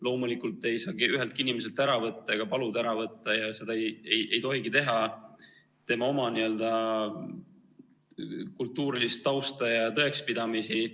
Loomulikult ei saa üheltki inimeselt ära võtta ega paluda ära võtta – ja seda ei tohigi teha – tema oma kultuurilist tausta ja tõekspidamisi.